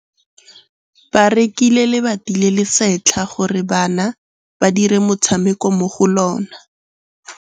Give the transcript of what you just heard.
Ba rekile lebati le le setlha gore bana ba dire motshameko mo go lona.